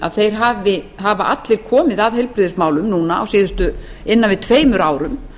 á alþingi hafi allir komið að heilbrigðismálum á síðustu tæpum tveimur árum